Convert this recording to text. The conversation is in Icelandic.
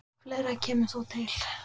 Fleira kemur þó til.